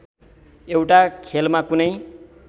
एउटा खेलमा कुनै